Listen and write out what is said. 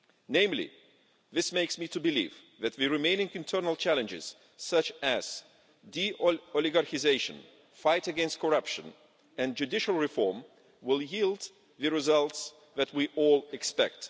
namely, this makes me believe that the remaining internal challenges such as deoligarchisation, the fight against corruption and judicial reform will yield the results that we all expect.